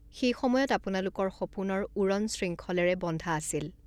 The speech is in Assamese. সেই সময়ত আপোনালোকৰ সপোনৰ উড়ণ শৃংখলেৰে বন্ধা আছিল।